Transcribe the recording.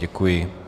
Děkuji.